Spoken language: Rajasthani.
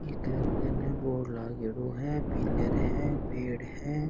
एक बोर्ड लागोडो है पिलर है पेड़ है।